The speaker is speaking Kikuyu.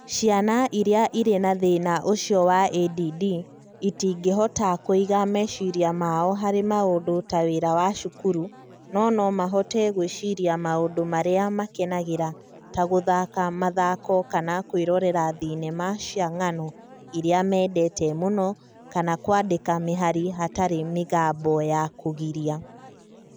Ciana iria irĩ na thĩna ũcio wa ADD itingĩhota kũiga meciria mao harĩ maũndũ ta wĩra wa cukuru, no nomahote gwĩciria maũndũ marĩa makenagĩra ta gũthaka mathako kana kwĩrorera thenema cia ng'ano iria mendete mũno kana kwandĩka mĩhari hatarĩ mĩgambo ya kũgiria.